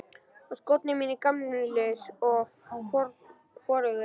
Og skórnir mínir gamlir og forugir.